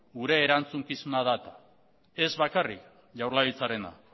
gure erantzukizuna da eta ez bakarrik jaurlaritzarena